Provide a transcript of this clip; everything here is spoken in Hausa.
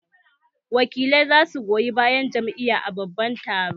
Wakilai za su goyi bayan Jam'iyar a babban taron